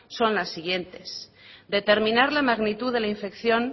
son las siguientes determinar la magnitud de la infección